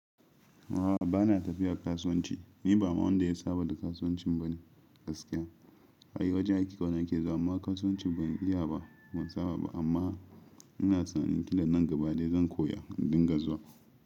A'a bana tafiya kasuwanci, ni ba ma wanda ya saba da kasuwanci bane gaskiya. Ai wajen aiki kawai nake zuwa amma kasuwanci ban iya ba, ban saba ba amma ina tsammanin nan gaba dai zan koya in dinga zuwa.